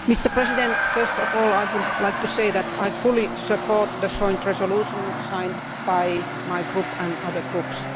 Mr President, first of all I would like to say that I fully support the joint resolution signed by my Group and other groups.